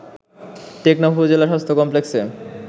টেকনাফ উপজেলা স্বাস্থ্য কমপ্লেক্সে